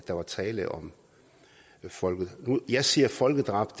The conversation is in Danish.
der var tale om et folkedrab jeg siger folkedrab